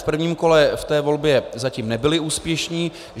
V prvním kole jsme ve volbě zatím nebyli úspěšní.